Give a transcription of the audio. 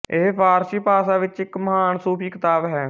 ਇਹ ਫ਼ਾਰਸੀ ਭਾਸ਼ਾ ਵਿੱਚ ਇੱਕ ਮਹਾਨ ਸੂਫ਼ੀ ਕਿਤਾਬ ਹੈ